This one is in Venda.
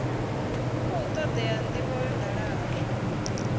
khou todea ndivho ya dalaho